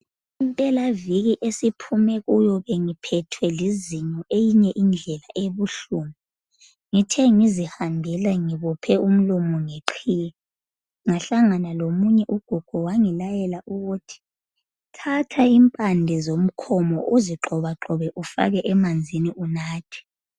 Impelaviki esiphumekiyo bengiphethwe lizinyo enye indlela ebubuhlungu ngithe ngizihambela ngibophe umlomo ngeqhiye ngahlangana lomunye ugogo wangilayela ukuthi thatha impande zomkhomo uzigxobagxobe ufake emanzini unathe